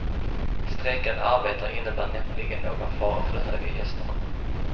Strejkande arbetare innebär näppeligen någon fara för de höga gästerna.